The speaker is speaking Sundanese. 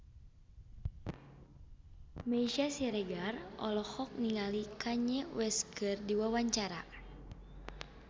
Meisya Siregar olohok ningali Kanye West keur diwawancara